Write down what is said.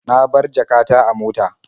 Na bar jaka ta a mota.